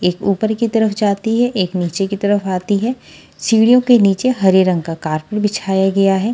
एक ऊपर की तरफ जाती है एक नीचे की तरफ आती है सीढ़ियों के नीचे हरे रंग का कॉर्पेट बिछाया गया है।